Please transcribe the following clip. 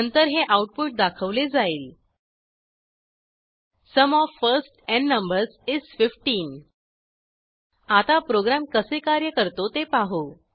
नंतर हे आऊटपुट दाखवले जाईल sum of first n numbers is 15 आता प्रोग्रॅम कसे कार्य करतो ते पाहू